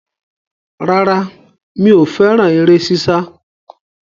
Rárá, mi ò fẹ́rà eré sísá.